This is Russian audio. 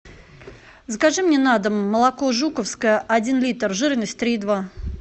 закажи мне на дом молоко жуковское один литр жирность три и два